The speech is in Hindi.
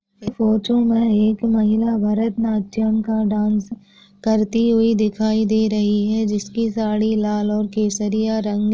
ये फोटो मे एक महिला भरत नाट्यम का डांस करती हुई दिखाई दे रही है जिसकी साड़ी लाल और केसरिया रंग--